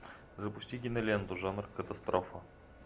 запусти киноленту жанр катастрофа